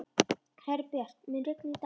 Herbjört, mun rigna í dag?